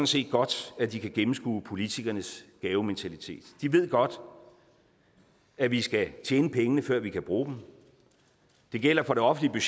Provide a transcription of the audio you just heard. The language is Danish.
set godt at de kan gennemskue politikernes gavementalitet de ved godt at vi skal tjene pengene før vi kan bruge dem det gælder for det offentlige